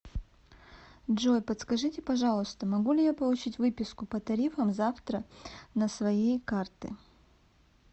джой подскажите пожалуйста могу ли я получить выписку по тарифам завтра на своей карты